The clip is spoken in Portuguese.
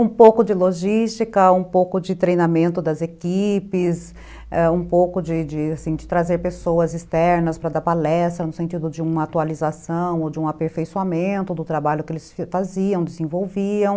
Um pouco de logística, um pouco de treinamento das equipes, ãh, um pouco de trazer pessoas externas para dar palestra, no sentido de uma atualização ou de um aperfeiçoamento do trabalho que eles faziam, desenvolviam.